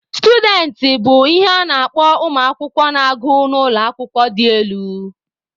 Students bụ ihe a na-akpọ ụmụ akwụkwọ na-agụ n'ụlọ akwụkwọ dị elu.